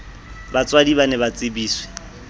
batswadi ba ne ba tsebiswe